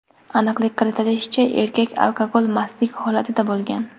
Aniqlik kiritilishicha, erkak alkogol mastlik holatida bo‘lgan.